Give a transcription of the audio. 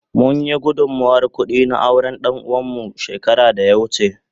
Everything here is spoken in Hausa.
Mun yi gudunmawar kudi a auren danuwa mu shekara da ya wuce.